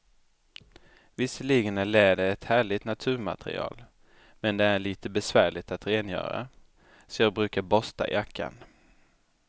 Visserligen är läder ett härligt naturmaterial, men det är lite besvärligt att rengöra, så jag brukar borsta jackan.